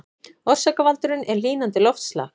Orsakavaldurinn er hlýnandi loftslag